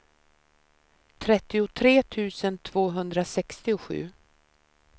trettiotre tusen tvåhundrasextiosju